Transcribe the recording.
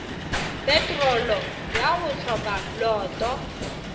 petrolo ya go hloka loto